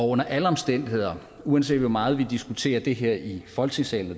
under alle omstændigheder uanset hvor meget vi diskuterer det her i folketingssalen